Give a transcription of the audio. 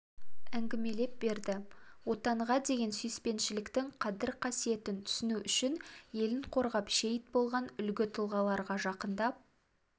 әңгімелеп берді отанға деген сүйіспеншіліктің қадір-қасиетін түсіну үшін елін қорғап шейіт болған үлгі тұлғаларға жақындап